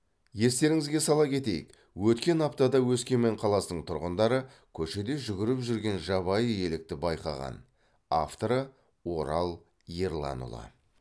естеріңізге сала кетейік өткен аптада өскемен қаласының тұрғындары көшеде жүгіріп жүрген жабайы елікті байқаған авторы орал ерланұлы